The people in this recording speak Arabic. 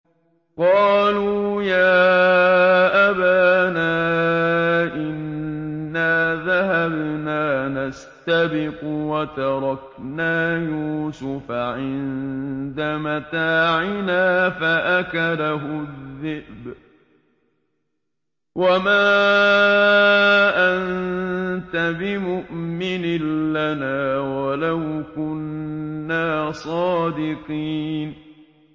قَالُوا يَا أَبَانَا إِنَّا ذَهَبْنَا نَسْتَبِقُ وَتَرَكْنَا يُوسُفَ عِندَ مَتَاعِنَا فَأَكَلَهُ الذِّئْبُ ۖ وَمَا أَنتَ بِمُؤْمِنٍ لَّنَا وَلَوْ كُنَّا صَادِقِينَ